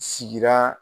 Sigira